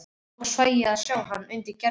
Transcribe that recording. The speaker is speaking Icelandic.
Loksins fæ ég að sjá hann undir gervinu.